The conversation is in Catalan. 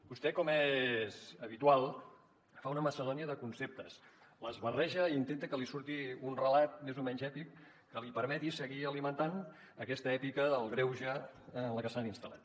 vostè com és habitual fa una macedònia de conceptes els barreja i intenta que li surti un relat més o menys èpic que li permeti seguir alimentant aquesta èpica del greuge en la que s’han instal·lat